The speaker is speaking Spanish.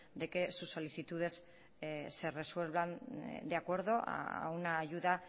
de que sus solicitudes se resuelvan de acuerdo a una ayuda